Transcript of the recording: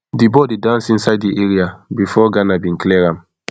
di ball dey dance inside di area bifor ghana bin clear am